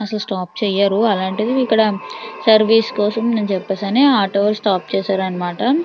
అసలు స్టాప్ చేయరు అలాంటిది ఇక్కడ సర్వీస్ కోసమని చెప్పేసి ఆటో స్టాప్ చేశారు అన్నమాట.